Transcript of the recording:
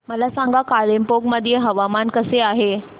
मला सांगा कालिंपोंग मध्ये हवामान कसे आहे